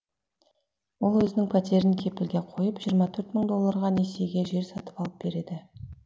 ол өзінің пәтерін кепілге қойып жиырма төрт мың долларға несиеге жер сатып алып береді